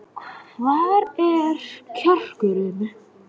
Hvar er kjarkurinn?